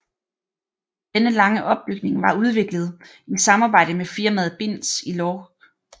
Denne lange opbygning var udviklet i samarbejde med firmaet Binz i Lorch